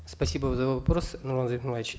спасибо за вопрос нурлан зайроллаевич